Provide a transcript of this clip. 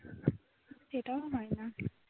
সেটাও হয় নি